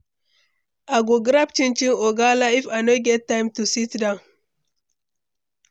I go grab chinchin or gala if I no get time to sit down.